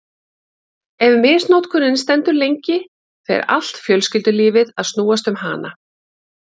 Ef misnotkunin stendur lengi fer allt fjölskyldulífið að snúast um hana.